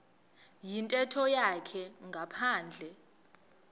yintetho yakhe ngaphandle